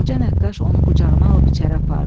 Qoca nəqqaş onu qucağına alıb içəri apardı.